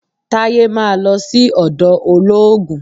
Taye máa lọ sí ọ̀dọ̀ olóògùn